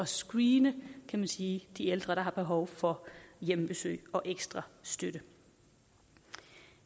screene kan man sige de ældre der har behov for hjemmebesøg og ekstra støtte